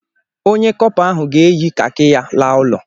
Onye kọpa ahụ ga-eyi kaki ya laa ụlọ.